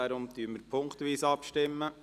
Deshalb stimmen wir punktweise ab.